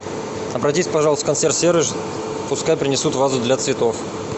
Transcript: обратись пожалуйста в консьерж сервис пускай принесут вазу для цветов